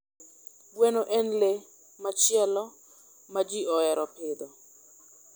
Gweno en le machielo ma ji ohero pidho.